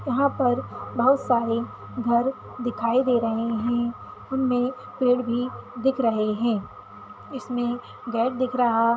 यहाँ पर बहुत सारे घर दिखाई दे रहे है उनमे पेड़ भी दिख रहे है इसमे गेट दिख रहा--